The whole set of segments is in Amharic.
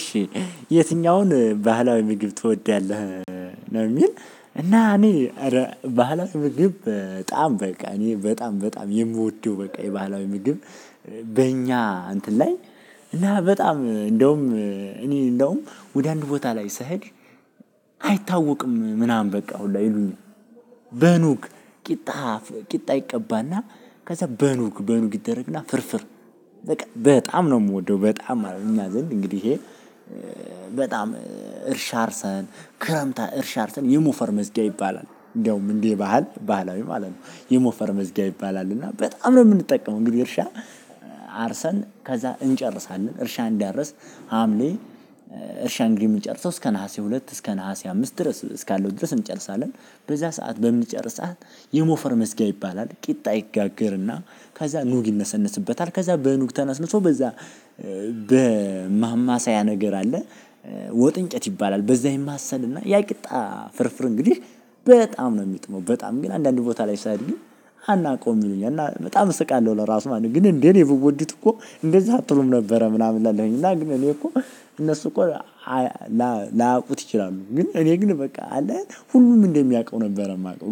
እሺ የትኛውን ባህላዊ ምግብ ትወዳለህ ነው የሚል እና እኔ እረ ባህላዊ ምግብ በጣም በቃ እኔ በጣም በጣም የምወደው በቃ የባህላዊ ምግብ በእኛ እንትን ላይ እና በጣም እንደውም እኔ እንደውም ወደ አንድ ቦታ ላይ ስሄድ አይታወቅም ምናምን በቃ ሁላ ይሉኛኝ በኑግ ቂጣ ቂጣ ይቀባና። ከዝያ በኑግ በኑግ ይደረግና ፍርፍር በቃ በጣም ነው የምወደው በጣም ማለት ነው እኛ ዘንድ እንግዲህ በጣም እርሻ አርሰን ክረምት እርሻ አርሰን የሞፈር መስግያ ይባላል። እንደውም እንዴ ባህል ባህላዊ ማለት ነው የሞፈር መዝግያ ይባላል እና በጣም ነው የምንጠቀመው። እንግዲህ እርሻ አርሰን ከዛ እንጨርሳለን እርሻ እንዳረስን ሀምሌ እርሻ እንግዲ የምንጨርሰው እስከ ነሀሴ ሁለት እስከ ነሀሴ አምስት ድረስ እስካለው ድረስ እንጨርሳለን። በዛ ሰዓት በምንጨርስ የሞፈር መስግያ ይባላል። ቂጣ ይጋገርእና ከዛ ኑግ ይነሰነስበታል ከዛ በኑግ ተነስንሶ በዛ በማማሳያ ነገር አለ ወጥ እንጨት ይባላል። በዛ ይማሰልና ያቅጣ ፍርፍር እንግዲህ በጣም ነው የምጥመው በጣም ግን አንዳንድ ቦታ ላይ ሳድግ አናውቀውም ይሉኛል በጣም እስቃለሁ ለራሱ ማለት ነው ግን እንዴ እኔ ብወዱት እኮ እንደዛ አትሉም ነበር ምናምን እላለሁኝ እና ግን እኔ እኮ እነሱ እኮ ላያውቁት እችላሉ ግን እነ ግን በቃ አለ አይደል ሁሉም እንደሚያውቁት ነበር የሚያውቀው።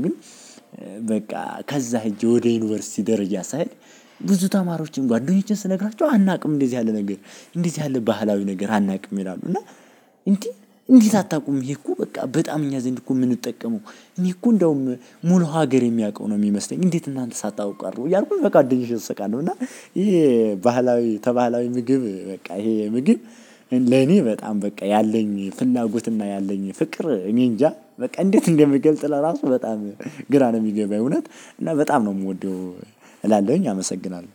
በቃ ከዛ ህጄ ወደ ዩኒቨርስቲ ደረጃ ሣይ ብዙ ተማሪዎችን ጓደኞቼን ስነግራቸው አናውቅም እንደዚህ ያለ ነገር። እንደት ያለ ባህላዊ ነገር አናውቅም ይላሉ እና እንደ እንደት አታውቁም ብየ እኮ በቃ በጣም እኛ ዘንድ እኮ የምንጠቀመው እኔ እኮ እንደውም ሙሉ ሀገር የሚያውቀው ነው የሚመስለኝ። እንዴት እናንተ ሳታውቁ ቀረሁት እያልኩኝ በቃ እንደ ልጅ እስቃለሁ እና ይሄ ባህላዊ ባህላዊ ምግብ በቃ ይሄ ምግብ ለኔ በጣም በቃ ያለኝ ፍላጎትና ያለኝ ፍቅር እኔ እንጃ? በቃ እንዴት እንደምገልጥ ለራሱ በጣም ግራ ነው የሚገባኝ እውነት እና በጣም ነው የምወደው እላለሁኝ አመሰግናለሁ።